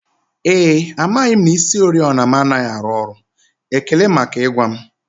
Ee e, amaghị m na isioriọna m anaghị arụ ọrụ, ekele maka ịgwa m